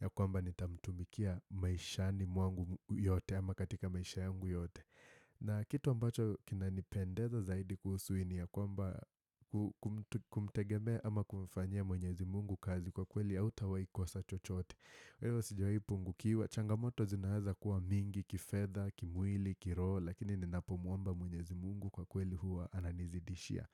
ya kwamba nitamtumikia maishani mwangu yote ama katika maisha yangu yote. Na kitu ambacho kinanipendeza zaidi kuhusu hii ni ya kwamba kumtegemea ama kumfanyia mwenyezi mungu kazi kwa kweli hautawahikosa chochote wewe sijaipungukiwa changamoto zinaweza kuwa mingi kifedha kimwili kiroho lakini ninapomwomba mwenyezi mungu kwa kweli huwa ananizidishia